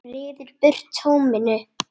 Ryður burt tóminu.